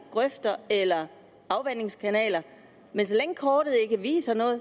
grøfter eller afvandingskanaler men så længe kortet ikke viser noget